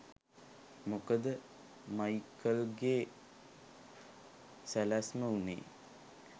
මොකද මයිකල්ගේ සැලැස්ම වුනේ